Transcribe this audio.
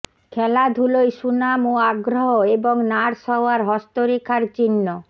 খেলাধুলোয় সুনাম ও আগ্রহ এবং নার্স হওয়ার হস্তরেখার চিহ্ন